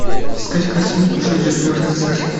искать картинку железный рыцарь